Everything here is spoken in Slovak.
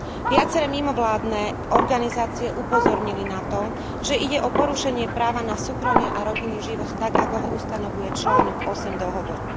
Viaceré mimovládne organizácie upozornili na to, že ide o porušenie práva na súkromie a rodinný život tak, ako ho ustanovuje článok 8 dohovoru.